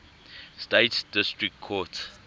states district court